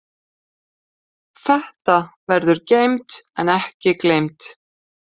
Þetta verður geymt en ekki gleymt.